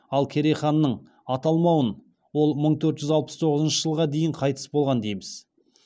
ал керей ханның аталмауын ол мың төрт жүз алпыс тоғызыншы жылға дейін қайтыс болған дейміз